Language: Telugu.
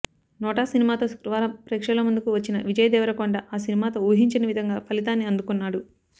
నోటా సినిమాతో శుక్రవారం ప్రేక్షకుల ముందుకు వచ్చిన విజయ్ దేవరకొండ ఆ సినిమాతో ఊహించని విధంగా ఫలితాన్ని అందుకున్నాడు